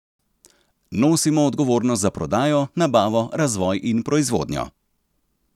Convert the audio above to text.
Nosimo odgovornost za prodajo, nabavo, razvoj in proizvodnjo.